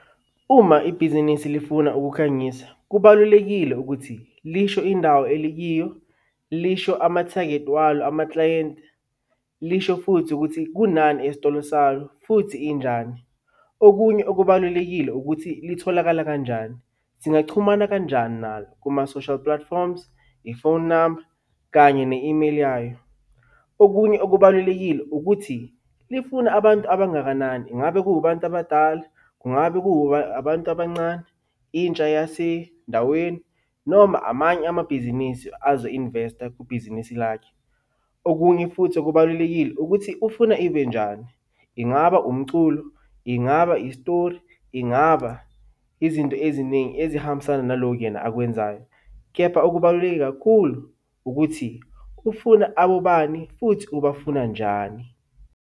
Uma ibhizinisi lifuna ukukhangisa, kubalulekile ukuthi lisho indawo elikiyo, lisho ama-target walo amakilayenti, lisho futhi ukuthi kunani esitolo salo futhi injani. Okunye okubalulekile ukuthi litholakala kanjani, singachumana kanjani nalo kuma-social platforms, i-phone number kanye ne-email yayo. Okunye okubalulekile ukuthi lifuna abantu abangakanani, ingabe kubantu abadala, kungabe ku abantu abancane, intsha yasendaweni noma amanye amabhizinisi azo-invest-a kwibhizinisi lakhe. Okunye futhi okubalulekile ukuthi ufuna ibe njani, ingaba umculo, ingaba istori, ingaba izinto eziningi ezihambisana nalokhu yena akwenzayo, kepha okubaluleke kakhulu ukuthi ufuna abobani futhi ubafuna njani.